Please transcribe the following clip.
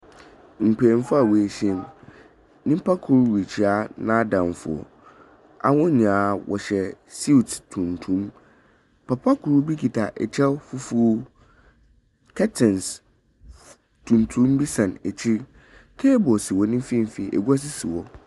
Mpenyimfo a wɔahyiem. Nnyimpa rekyia n'adamfo. Hɔn nyinaa hyɛ suit tuntum. Papa kor kita kyɛw fufuw. Curtains tuntum bi sɛn akyir. Cable wɔ ne mfinfin. Agua nso si hɔ.